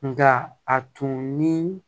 Nka a tun ni